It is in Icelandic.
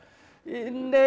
nei